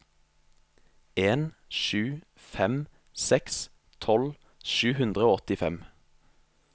en sju fem seks tolv sju hundre og åttifem